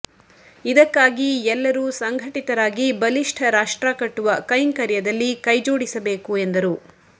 ಇದಕ್ಕಾಗಿ ಎಲ್ಲರೂ ಸಂಘಟಿತರಾಗಿ ಬಲಿಷ್ಟ ರಾಷ್ಟ್ರಕಟ್ಟುವ ಕೈಂಕರ್ಯದಲ್ಲಿ ಕೈ ಜೋಡಿಸಬೇಕು ಎಂದರು